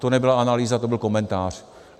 To nebyla analýza, to byl komentář.